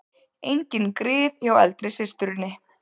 Engin grið hjá eldri systurinni